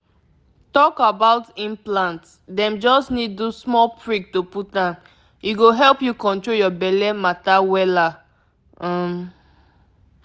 if um you use implant e dey last reach three um years — you go just relax steady no panic for long.